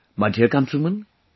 My dear countrymen,